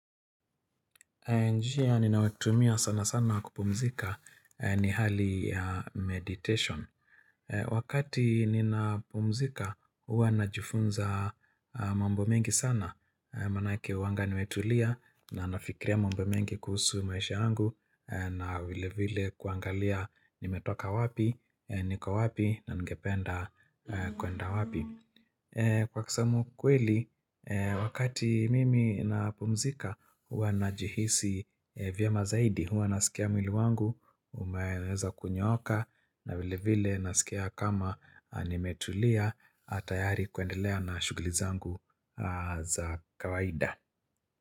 Njia, ninayoitumia sana sana ya kupumzika ni hali ya meditation. Wakati ninapumzika, huwa najifunza mambo mengi sana. Manake huwanga nimetulia na nafikiria mambo mengi kuhusu maisha yangu na vile vile kuangalia nimetoka wapi, niko wapi na ningependa kwenda wapi. Kwa kusema ukweli, wakati mimi na pumzika, huwa najihisi vyema zaidi, huwa nasikia mwili wangu, umeweza kunyooka, na vile vile nasikia kama nimetulia, tayari kuendelea na shughuli zangu za kawaida.